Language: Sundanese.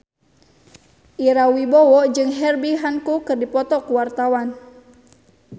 Ira Wibowo jeung Herbie Hancock keur dipoto ku wartawan